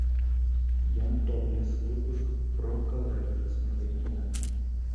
ян топлес выпуск про коллайдер смотреть онлайн